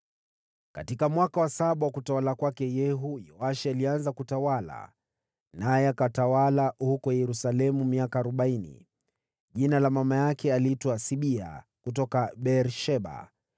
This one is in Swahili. Katika mwaka wa saba wa utawala wa Yehu, Yoashi alianza kutawala, naye akatawala huko Yerusalemu miaka arobaini. Jina la mama yake aliitwa Sibia, kutoka Beer-Sheba.